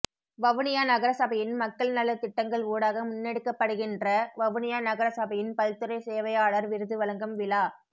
வவுனியா நகரசபையின் மக்கள் நலத் திட்டங்கள் ஊடாக முன்னெடுக்கப்படுகின்ற வவுனியா நகரசபையின் பல்துறை சேவையாளர் விருது வழங்கும் விழா